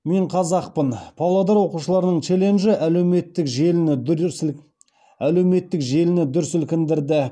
мен қазақпын павлодар оқушыларының челленджі әлеуметтік желіні дүр сілкіндірді